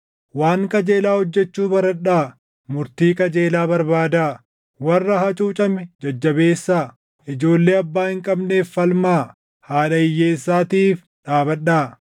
waan qajeelaa hojjechuu baradhaa! Murtii qajeelaa barbaadaa; warra hacuucame jajjabeessaa. Ijoollee abbaa hin qabneef falmaa; haadha hiyyeessaatiif dhaabadhaa.